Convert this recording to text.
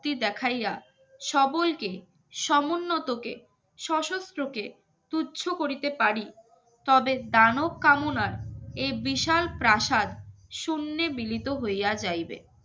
সত্যি দেখাইয়া সবলকে সমুন্নতকে সশস্ত্র কে তুচ্ছ করিতে পারি তবে দানব কামনার এ বিশাল প্রাসাদ শূন্যে মিলিত হইয়া যাইবে